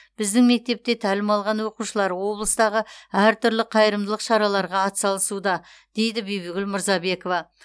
біздің мектепте тәлім алған оқушылар облыстағы әр түрлі қайырымдылық шараларға атсалысуда дейді бибігүл мурзабекова